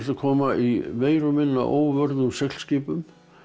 koma meira og minna á óvörðum seglskipum